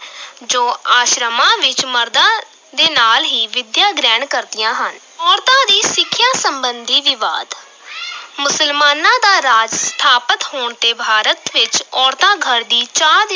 ਜੋ ਆਸ਼ਰਮਾਂ ਵਿੱਚ ਮਰਦਾਂ ਦੇ ਨਾਲ ਹੀ ਵਿੱਦਿਆ ਗ੍ਰਹਿਣ ਕਰਦੀਆਂ ਹਨ, ਔਰਤਾਂ ਦੀ ਸਿੱਖਿਆ ਸੰਬੰਧੀ ਵਿਵਾਦ ਮੁਸਲਮਾਨਾਂ ਦਾ ਰਾਜ ਸਥਾਪਤ ਹੋਣ ਤੇ ਭਾਰਤ ਵਿੱਚ ਔਰਤਾਂ ਘਰ ਦੀ ਚਾਰ